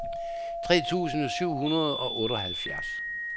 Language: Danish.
tre tusind syv hundrede og otteoghalvfjerds